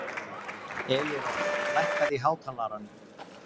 Elírós, lækkaðu í hátalaranum.